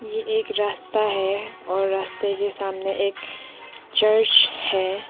ये एक रास्ता है और रास्ते के सामने एक चर्च है।